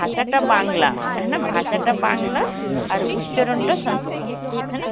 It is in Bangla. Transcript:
ভাষাটা বাংলা হ্যাঁ না? ভাষাটা বাংলা আর উচ্চারণ টা sanskrit, হ্যাঁ না